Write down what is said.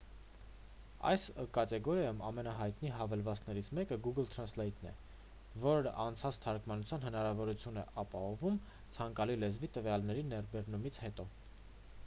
այս կատեգորիայում ամենահայտնի հավելվածներից մեկը google translate-ն է որն անցանց թարգմանության հնարավորություն է ապահովում ցանկալի լեզվի տվյալների ներբեռնումից հետո։